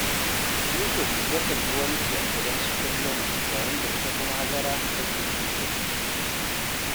Yusuf yakan yi wanki a gidansu kullum, yayin da ita kuma Hajara take yin girki